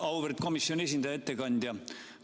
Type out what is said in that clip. Auväärt komisjoni esindaja, ettekandja!